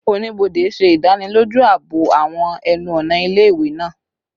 Onibode ṣe idaniloju aabo awọn ẹnu-ọna ile-iwe naa